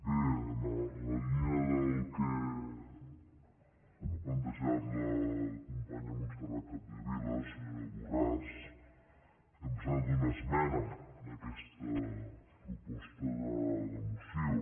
bé en la línia del que ha plantejat la companya montserrat capdevila senyora borràs hem presentat una esmena a aquesta proposta de moció